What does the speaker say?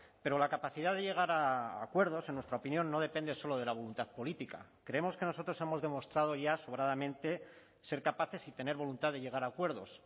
pero la capacidad de llegar a acuerdos en nuestra opinión no depende solo de la voluntad política creemos que nosotros hemos demostrado ya sobradamente ser capaces y tener voluntad de llegar a acuerdos